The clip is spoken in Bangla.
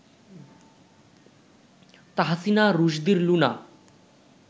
তাহসিনা রুশদীর লুনা